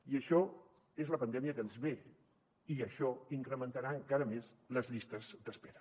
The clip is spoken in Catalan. i això és la pandèmia que ens ve i això incrementarà encara més les llistes d’espera